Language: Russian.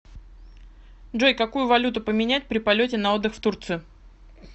джой какую валюту поменять при полете на отдых в турцию